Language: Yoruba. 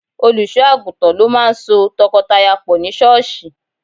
Olùṣọ́ àgùntàn ló máà ń so tọkọtaya pọ̀ ní sọ́ọ̀ṣì